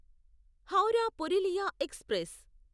Howrah Purulia express